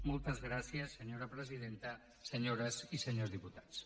moltes gràcies senyora presidenta senyores i senyors diputats